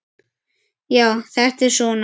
Já, þetta er svona.